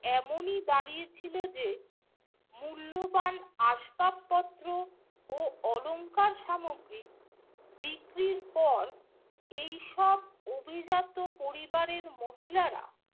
এমনই দাঁড়িয়েছিল যে, মূল্যবান আসবাবপত্র ও অলংকার সামগ্রী বিক্রির পর এইসব অভিজাত পরিবারের মহিলারা